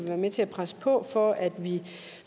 være med til at presse på for at vi